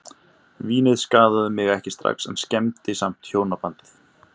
Vínið skaðaði mig ekki strax en skemmdi samt hjónabandið.